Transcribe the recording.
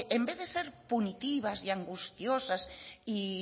en vez de ser punitivas y angustiosas y